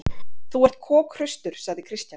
Þú ert kokhraustur, sagði Christian.